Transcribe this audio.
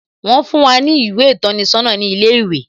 Wón fún wá ní ìwé ìtọ́ni sọ́nà ní ilé ìwé